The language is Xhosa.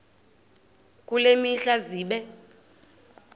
kule mihla zibe